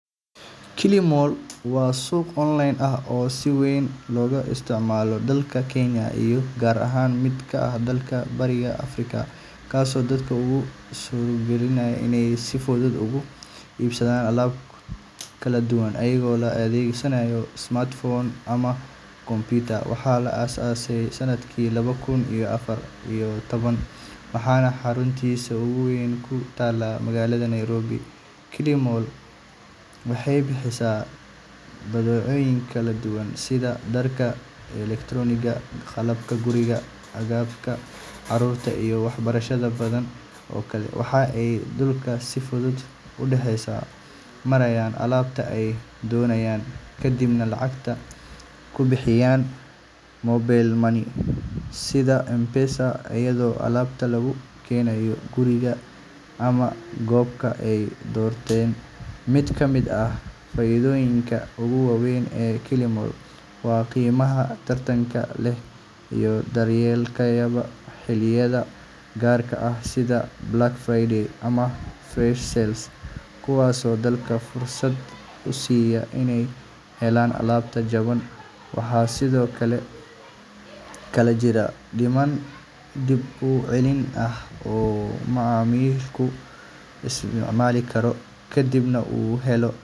Kilimall waa suuq online ah oo si weyn looga isticmaalo dalka Kenya iyo qaar ka mid ah dalalka Bariga Afrika, kaasoo dadka u suurtageliya inay si fudud uga iibsadaan alaab kala duwan iyadoo la adeegsanayo smartphone ama computer. Waxaa la aasaasay sanadkii laba kun iyo afar iyo toban, waxaana xaruntiisa ugu weyn ku taallaa magaalada Nairobi. Kilimall waxay bixisaa badeecooyin kala duwan sida dharka, elektaroonigga, qalabka guriga, agabka carruurta, iyo waxyaabo badan oo kale. Waxa ay dadku si fudud u dhex marayaan alaabta ay doonayaan, kadibna lacagta ku bixiyaan mobile money sida M-Pesa, iyadoo alaabta loogu keeno gurigooda ama goobta ay doorteen. Mid ka mid ah faa’iidooyinka ugu waaweyn ee Kilimall waa qiimaha tartanka leh iyo dalabyada xilliyada gaarka ah sida Black Friday ama Flash Sales, kuwaasoo dadka fursad u siiya inay helaan alaab jaban. Waxaa sidoo kale jirta nidaam dib u celin ah oo macmiilku isticmaali karo haddii uu helo.